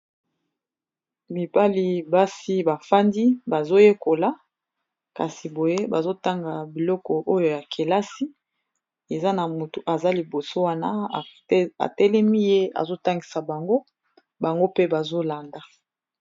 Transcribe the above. mibali basi bafandi bazoyekola kasi boye bazotanga biloko oyo ya kelasi eza na moto aza liboso wana atelemi ye azotangisa bango bango mpe bazolanda